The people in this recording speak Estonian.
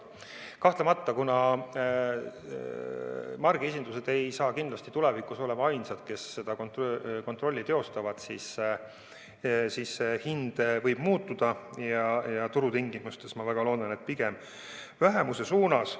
Kahtlemata, kuna margiesindused ei ole kindlasti tulevikus ainsad, kes seda kontrollivad, siis see hind võib muutuda, ja turutingimustes, ma väga loodan, pigem vähenemise suunas.